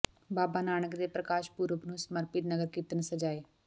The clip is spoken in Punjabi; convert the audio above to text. ਬਾਬਾ ਨਾਨਕ ਦੇ ਪ੍ਰਕਾਸ਼ ਪੁਰਬ ਨੂੰ ਸਮਰਪਿਤ ਨਗਰ ਕੀਰਤਨ ਸਜਾਏ